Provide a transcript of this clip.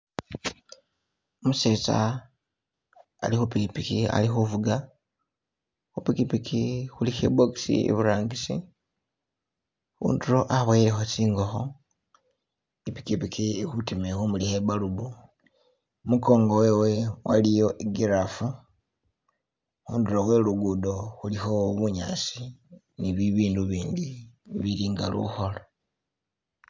Umusetsa ali khu pikiki ali khu fuga, khupikiki khulikho i box iburangisi, khundulo aboyelekho tsingokho, I'pikiki ili khutima ili khu mulikha I bulb, I'mukongo we iliyo i'giraffe, khundulo khwe lugudo khulikho bunyasi ni bibindu ibindi ibili nga lukholo.